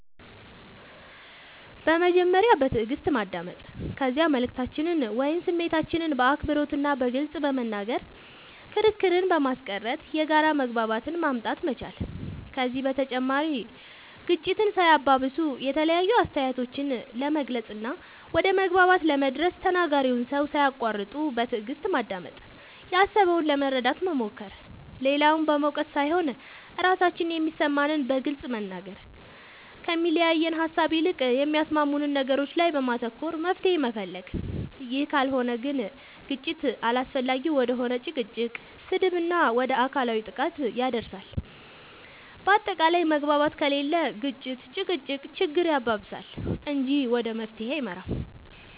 በመጀመሪያ በትእግስት ማዳመጥ ከዚያ መልእክታችንን ወይም ስሜታችንን በአክብሮት እና በግልፅ በመናገር ክርክርን በማስቀረት የጋራ መግባባትን ማምጣት መቻል ከዚህ በተጨማሪ ግጭትን ሳያባብሱ የተለያዩ አስተያየቶችን ለመግለፅ እና ወደ መግባባት ለመድረስ ተናጋሪውን ሰው ሳያቁዋርጡ በትእግስት ማዳመጥ ያሰበውን ለመረዳት መሞከር, ሌላውን በመውቀስ ሳይሆን ራሳችን የሚሰማንን በግልፅ መናገር, ከሚያለያየን ሃሳብ ይልቅ በሚያስማሙን ነገሮች ላይ በማተኮር መፍትሄ መፈለግ ይህ ካልሆነ ግን ግጭት አላስፈላጊ ወደ ሆነ ጭቅጭቅ, ስድብ እና ወደ አካላዊ ጥቃት ያደርሳል በአታቃላይ መግባባት ከሌለ ግጭት(ጭቅጭቅ)ችግር ያባብሳል እንጂ ወደ መፍትሄ አይመራም